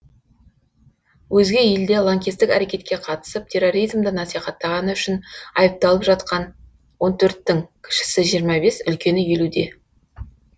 өзге елде лаңкестік әрекетке қатысып терроризмді насихаттағаны үшін айыпталып жатқан он төрттің кішісі жиырма бес үлкені елудее